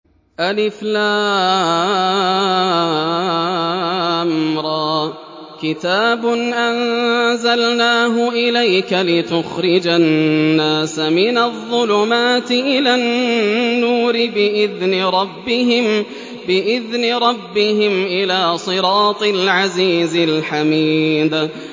الر ۚ كِتَابٌ أَنزَلْنَاهُ إِلَيْكَ لِتُخْرِجَ النَّاسَ مِنَ الظُّلُمَاتِ إِلَى النُّورِ بِإِذْنِ رَبِّهِمْ إِلَىٰ صِرَاطِ الْعَزِيزِ الْحَمِيدِ